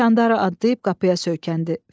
Çəndara adlayıb qapıya söykəndi.